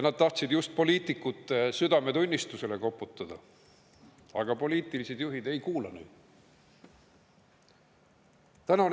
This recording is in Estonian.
Nad tahtsid just poliitikute südametunnistusele koputada, aga poliitilised juhid neid ei kuulanud.